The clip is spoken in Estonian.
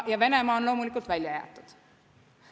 Ja Venemaa on loomulikult välja jäetud.